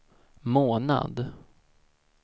månad